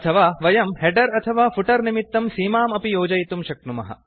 अथवा वयं हेडर् अथवा फुटर् निमित्तं सीमाम् अपि योजयितुं शक्नुमः